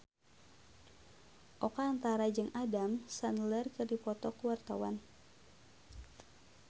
Oka Antara jeung Adam Sandler keur dipoto ku wartawan